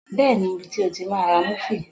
Bẹ́ẹ̀ni, mo mọ ibi tí o ti máa ra múfì